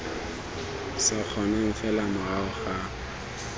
sa kgonang fela morago ga